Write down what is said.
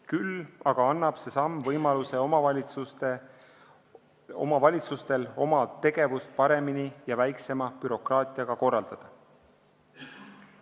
Küll aga annab see samm omavalitsustele võimaluse oma tegevust paremini ja väiksema bürokraatiaga korraldada.